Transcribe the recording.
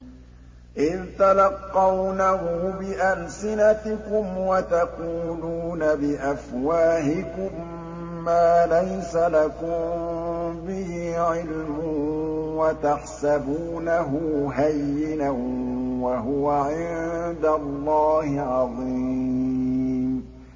إِذْ تَلَقَّوْنَهُ بِأَلْسِنَتِكُمْ وَتَقُولُونَ بِأَفْوَاهِكُم مَّا لَيْسَ لَكُم بِهِ عِلْمٌ وَتَحْسَبُونَهُ هَيِّنًا وَهُوَ عِندَ اللَّهِ عَظِيمٌ